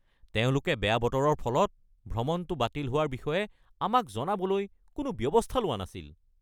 তেওঁলোকে বেয়া বতৰৰ ফলত ভ্ৰমণটো বাতিল হোৱাৰ বিষয়ে আমাক জনাবলৈ কোনো ব্যৱস্থা লোৱা নাছিল।